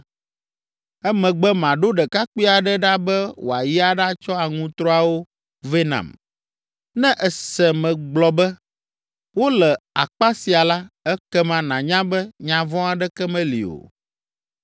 Emegbe maɖo ɖekakpui aɖe ɖa be wòayi aɖatsɔ aŋutrɔawo vɛ nam. Ne èse megblɔ be, ‘Wole akpa sia’ la, ekema nànya be nya vɔ̃ aɖeke meli o.